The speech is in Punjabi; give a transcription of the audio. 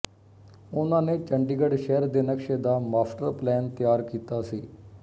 ਓਹਨਾ ਨੇ ਚੰਡੀਗੜ੍ਹ ਸ਼ਹਿਰ ਦੇ ਨਕਸ਼ੇ ਦਾ ਮਾਸਟਰ ਪਲੈਨ ਤਿਆਰ ਕੀਤਾ ਸੀ